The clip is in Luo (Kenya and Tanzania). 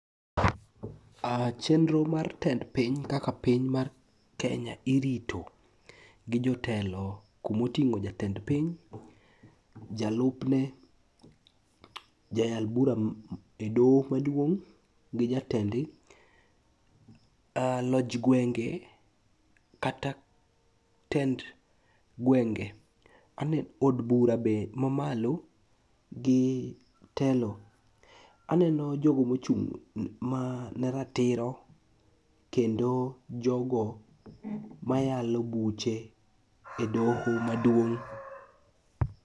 Chenro mar tend piny kaka piny mar Kenya irito gi jotelo kumoting'o jatend piny, jalupne, jayal bura e doho maduong' gi jatendgi, loj gwenge kata tend gwenge, od bura be mamalo gi telo. Aneno jogo mochung' ne ratiro kendo jogo mayalo buche e doho maduong'.